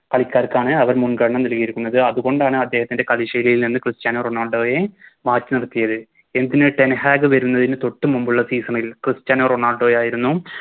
ആൾക്കാർക്കാണ് അവർ മുൻഗണന നൽകിയിരിക്കുന്നത് അതുകൊണ്ടാണ് അദ്ദേഹത്തിന്റെ കളി ൽ നിന്ന് ക്രിസ്റ്റ്യാനോ റൊണാൾഡോയെ മാറ്റി നിർത്തിയത് എന്തിന് ടെൻ ഹാഗ് വരുന്നതിന് തൊട്ടു മുൻപുള്ള Season ൽ ക്രിസ്റ്റ്യാനോ റൊണാൾഡോയായിരുന്നു